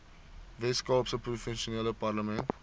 weskaapse provinsiale parlement